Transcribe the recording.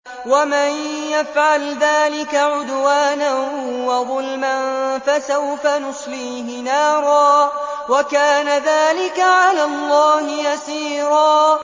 وَمَن يَفْعَلْ ذَٰلِكَ عُدْوَانًا وَظُلْمًا فَسَوْفَ نُصْلِيهِ نَارًا ۚ وَكَانَ ذَٰلِكَ عَلَى اللَّهِ يَسِيرًا